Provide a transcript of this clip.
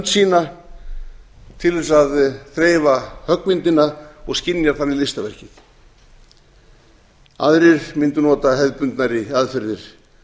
sína til þess að þreifa höggmyndinni og skynjar þannig listaverkið aðrir mundu nota hefðbundnari aðferðir